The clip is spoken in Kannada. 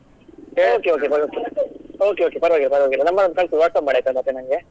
Okay okay ಪರ್ವಾಗಿಲ್ಲ ಪರ್ವಾಗಿಲ್ಲ number ಒಂದು ಕಳಿಸು WhatsApp ಮಾಡು ಆಯ್ತಾ ಮತ್ತೆ ನಂಗೆ.